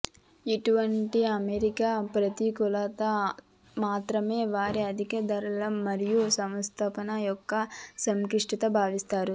ఇటువంటి అమరిక ప్రతికూలత మాత్రమే వారి అధిక ధర మరియు సంస్థాపన యొక్క సంక్లిష్టత భావిస్తారు